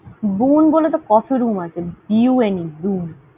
Bune বলে তো coffee room আছে। B U N E Bune ।